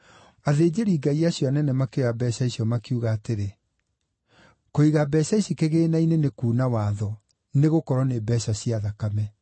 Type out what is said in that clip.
Athĩnjĩri-Ngai acio anene makĩoya mbeeca icio makiuga atĩrĩ, “Kũiga mbeeca ici kĩgĩĩna-inĩ nĩ kuuna watho, nĩgũkorwo nĩ mbeeca cia thakame.”